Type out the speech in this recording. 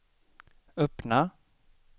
öppna